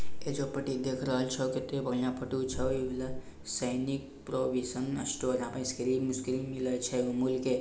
एइजा पट्टी देख रहल छो किते बढ़ियां फोटो छो इ बला | सैनिक प्रोविजन स्टोर यहाँ पे इस्क्रीम - उसक्रीम मिलय छे अमूल के।